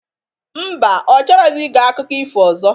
Mba, ọ chọrọzi ige akụko ifo ọzọ?